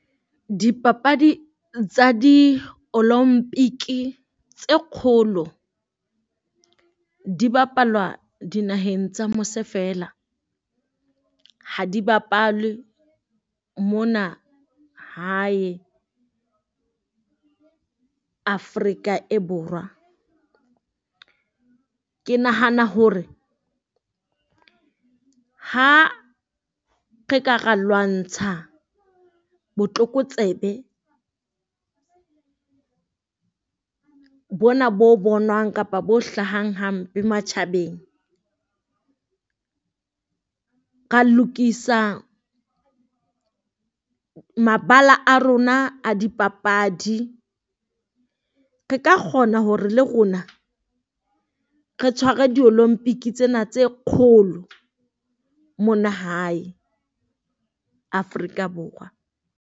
Dipapadi tsa di tse kgolo di bapalwa dinaheng tsa mose feela, ha di bapale mona hae Afrika e Borwa. Ke nahana hore ha re ka ra lwantsha botlokotsebe bona bo bonwang kapa bo hlahang hampe matjhabeng. Ra lokisa mabala a rona a dipapadi, re ka kgona hore le rona re tshware di tsena tse kgolo mona hae Afrika Borwa.